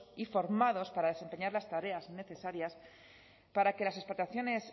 y formados para desempeñar las tareas necesarias para que las explotaciones